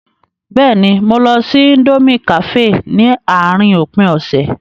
Bẹ́ẹ̀ni, mo lọ sí íńdómí kàféè ní àárín òpin ọ̀sẹ̀.